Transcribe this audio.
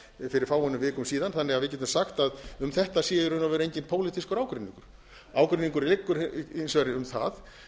síðast fyrir fáeinum vikum síðan þannig að við getum sagt að um þetta sé í raun og veru enginn pólitískur ágreiningur ágreiningurinn liggur hins vegar um það